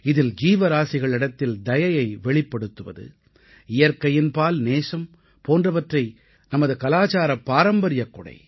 இதில் ஜீவராசிகளிடத்தில் தயையை வெளிப்படுத்துவது இயற்கையின்பால் நேசம் போன்றவை நமது கலாச்சாரப் பாரம்பரியக் கொடை